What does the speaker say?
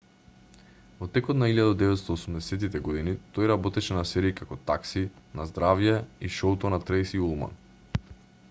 во текот на 1980-тите години тој работеше на серии како такси на здравје и шоуто на трејси улман